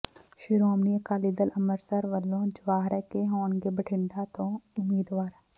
ਸ਼੍ਰੋਮਣੀ ਅਕਾਲੀ ਦਲ ਅੰਮ੍ਰਿਤਸਰ ਵੱਲੋਂ ਜਵਾਹਰਕੇ ਹੋਣਗੇ ਬਠਿੰਡਾ ਤੋਂ ਉਮੀਦਵਾਰ